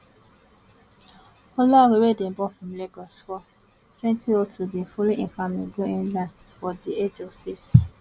olaore wey dem born for lagos for twenty oh two bin follow im family go england for di age of six